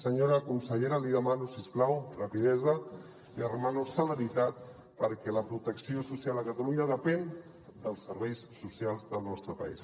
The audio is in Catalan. senyora consellera li demano si us plau rapidesa li demano celeritat perquè la protecció social a catalunya depèn dels serveis socials del nostre país